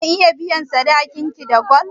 Zan iya biyan sadakin ki da gwal?